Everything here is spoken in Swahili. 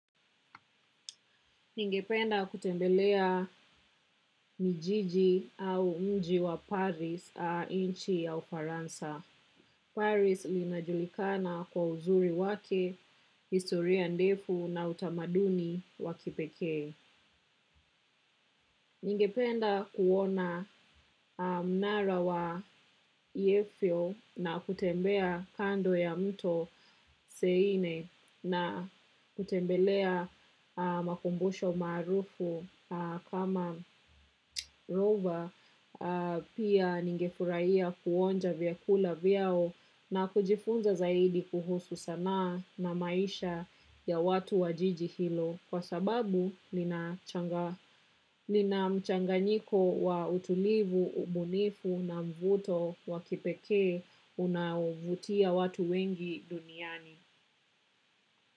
Ningependa kutembelea mijiji au mji wa Paris inchi ya ufaransa. Paris linajulikana kwa uzuri wake, historia ndefu na utamaduni wakipeke. Ningependa kuona mnara wa yefyo na kutembea kando ya mto seine na kutembelea makumbusho maarufu kama rova pia ningefurahia kuonja vyakula vyao na kujifunza zaidi kuhusu sanaa na maisha ya watu wajiji hilo. Kwa sababu nina mchanga nyiko wa utulivu, ubunifu na mvuto wa kipeke unavutia watu wengi duniani.